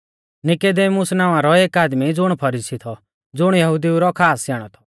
नीकुदेमुस नावां रौ एक आदमी ज़ुण फरीसी थौ ज़ुण यहुदिऊ रौ खास स्याणौ थौ